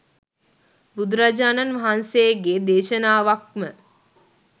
බුදුරජාණන් වහන්සේගේ දේශනාවක්ම